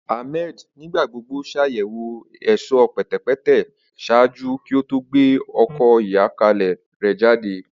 Ahmed nigbagbogbo ṣayẹwo ẹṣọ pẹtẹpẹtẹ ṣaaju ki o to gbe ọkọ ayọkẹlẹ rẹ jade.